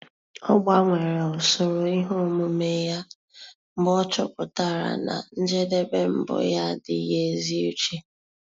Ọ́ gbanwere usoro ihe omume ya mgbe ọ́ chọ́pụ̀tárà na njedebe mbụ yá ádị́ghị́ ézi úché.